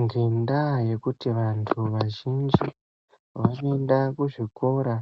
Ngenda yekuti vantu vazhinji vanoenda kuzvikora